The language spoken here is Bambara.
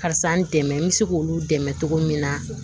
Karisa n dɛmɛ n bɛ se k'olu dɛmɛ cogo min na